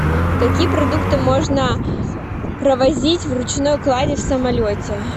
какие продукты можно провозить в ручной клади в самолете